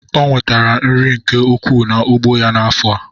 Onwetere nri nke ukwu na ugbo ya na afọa.